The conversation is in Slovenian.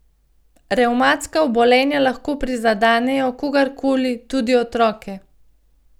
Revmatska obolenja lahko prizadenejo kogarkoli, tudi otroke.